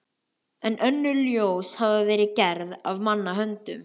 En öll önnur ljós hafa verið gerð af manna höndum.